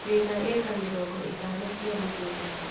Wĩna ĩka mĩrongo ĩtano cia mũgũnda.